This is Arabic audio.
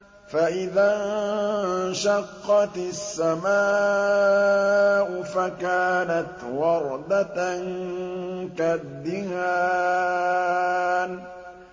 فَإِذَا انشَقَّتِ السَّمَاءُ فَكَانَتْ وَرْدَةً كَالدِّهَانِ